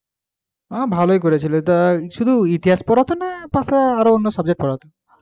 হ্যাঁ ভালোই করেছিল তা শুধু ইতিহাস পড়াতো না আরও পাশে অন্য subject পড়াতো